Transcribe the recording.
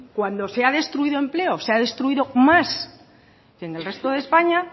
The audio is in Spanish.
cuando se ha destruido empleo se ha destruido más que en el resto de españa